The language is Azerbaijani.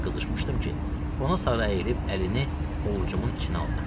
O qədər qızışmışdım ki, ona sarı əyilib əlini ovcumun içinə aldım.